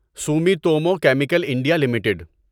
Sumitomo Chemical India limited